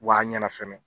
Wa ɲɛna fɛnɛ